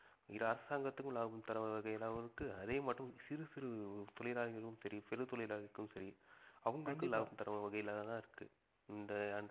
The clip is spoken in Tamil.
இது அரசாங்கத்துக்கும் லாபம் தரும் வகையாகவும் இருக்கு அதே மற்றும் சிறு சிறு தொழிலாளிகளும் சரி பெரு தொழிலாளிக்கும் சரி அவங்களுக்கு லாபம் தரும் வகையிலாக தான் இருக்கு இந்த